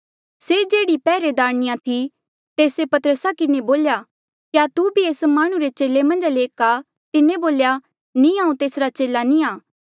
से जेह्ड़ी पैहरेदारणीया थी तेस्से पतरसा किन्हें बोल्या क्या तू भी एस माह्णुं रे चेले मन्झा ले एक आ तिन्हें बोल्या नी हांऊँ तेसरा चेला नी आं